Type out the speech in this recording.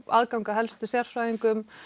aðgang að helstu sérfræðingum